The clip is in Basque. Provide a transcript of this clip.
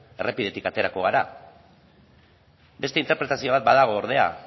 errepidetik aterako gara beste interpretazio bat badago ordea